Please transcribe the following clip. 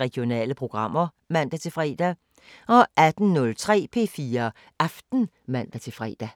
Regionale programmer (man-fre) 18:03: P4 Aften (man-fre)